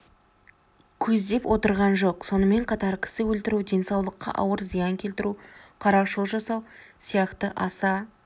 көздеп отырған жоқ сонымен қатар кісі өлтіру денсаулыққа ауыр зиян келтіру қарақшылық жасау сияқты аса